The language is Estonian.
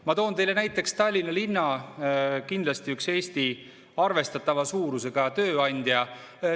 Ma toon teile näiteks Tallinna linna, kindlasti ühe Eesti arvestatava suurusega tööandja.